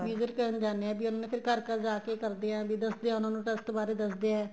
visit ਕਰਨ ਜਾਂਦੇ ਏ ਉਹਨਾ ਨੇ ਘਰ ਘਰ ਜਾਕੇ ਕਰਦੇ ਏ ਵੀ ਦੱਸਦੇ ਹੈ ਉਹਨਾ ਨੂੰ trust ਬਾਰੇ ਦੱਸਦੇ ਏ